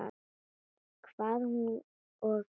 Hvað hún og gerði.